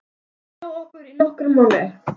Hann er hjá okkur í nokkra mánuði.